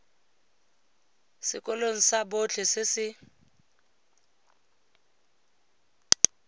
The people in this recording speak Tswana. sekolong sa botlhe se se